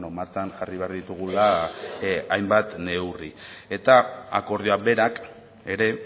martxan jarri behar ditugula hainbat neurri eta akordioak berak ere